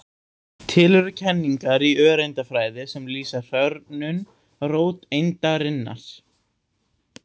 Til eru kenningar í öreindafræði sem lýsa hrörnun róteindarinnar.